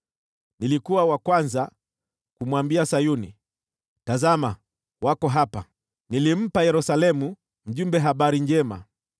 Nilikuwa wa kwanza kumwambia Sayuni, ‘Tazama, wako hapa!’ Nilimpa Yerusalemu mjumbe wa habari njema.